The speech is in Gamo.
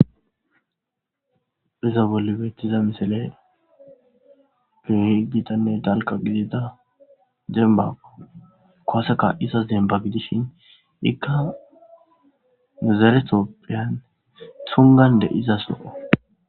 iza bolle beettiza misale gehi gitanne dalka gidida dembaga kooseka isa zemba gidishin ikka mizaretopphiyan tungande izas noo